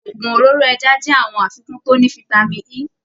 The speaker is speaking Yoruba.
Òògùn òróró ẹja jẹ àwọn àfikún to ní fitami E